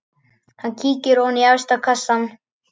Hann kíkir ofan í efsta kassann.